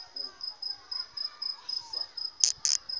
ka ha o se o